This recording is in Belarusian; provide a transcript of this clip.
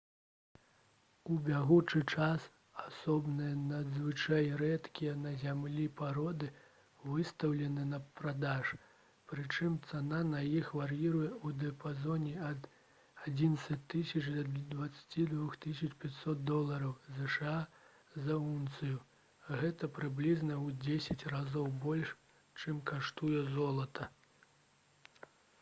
у бягучы час асобныя надзвычай рэдкія на зямлі пароды выстаўлены на продаж прычым цана на іх вар'іруе ў дыяпазоне ад 11 000 да 22 500 долараў зша за ўнцыю гэта прыблізна ў дзесяць разоў больш чым каштуе золата